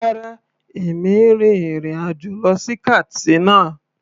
Rárá, èmi n rin ìrìn àjò lọ sí Katsina.